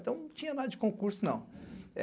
Então não tinha nada de concurso, não.